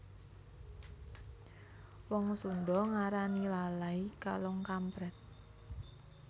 Wong Sunda ngarani lalay kalong kamprèt